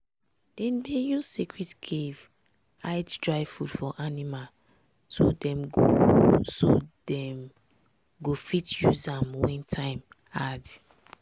dem dey use secret cave hide dry food for animal so dem go so dem go fit use am when time hard.